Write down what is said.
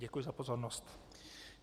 Děkuji za pozornost.